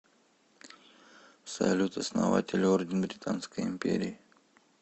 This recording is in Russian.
салют основатель орден британской империи